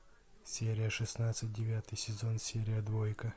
серия шестнадцать девятый сезон серия двойка